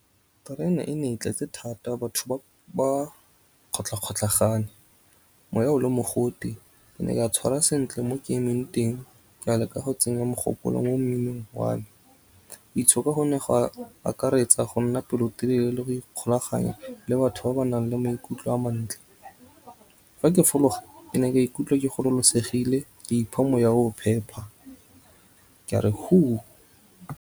Terene e ne e tletse thata batho ba kgotlha kgotlhagane moya o le mogote. Ke ne ka tshwara sentle mo ke emeng teng ka leka go tsenya mogopolo mo mminong wa me. Go itshoka go ne gwa akaretsa go nna pelotelele le go ikgolaganya le batho ba ba nang le maikutlo a mantle. Fa ke fologa ke ne ka ikutlwa ke gololosegile ke ipha moya o phepa ke a re .